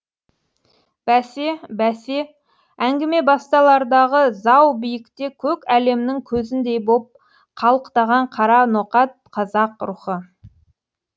бәсе бәсе әңгіме басталардағы зау биікте көк әлемнің көзіндей боп қалықтаған қара ноқат қазақ рухы